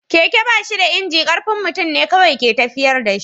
Keke ba shi da inji, ƙarfin mutum ne kawai ke tafiyar da shi.